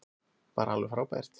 Bara alveg frábært.